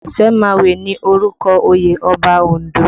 Osemawe ni orúkọ oyè Ọba Ondo